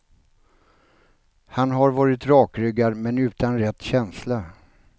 Han har varit rakryggad men utan rätt känsla.